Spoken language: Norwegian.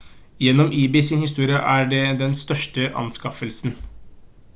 gjennom ebay sin historie er det den største anskaffelsen